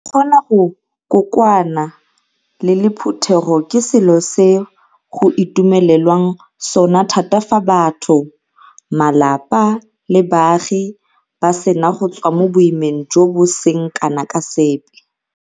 Go kgona go kokoana le le phuthego ke selo se go itumelelwang sona thata fa batho, malapa le baagi ba sena go tswa mo boimeng jo bo seng kana ka sepe.